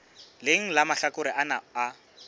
leng la mahlakore ana a